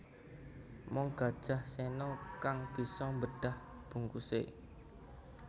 Mung Gajah Sena kang bisa mbedah bungkuse